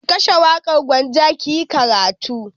Ki kashe waƙar Gwanja ki yi karatu!